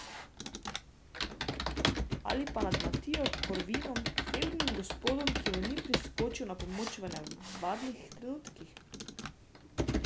Ali pa nad Matijo Korvinom, fevdnim gospodom, ki mu ni priskočil na pomoč v nevarnih trenutkih?